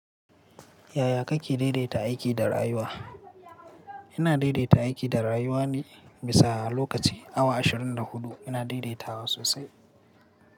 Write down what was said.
Yaya kake daidaita aiki da rayuwa? Ina daidaita aiki da rayuwa ne bisa lokaci awa ashirin da huɗu. Ina daidaitawa sosai.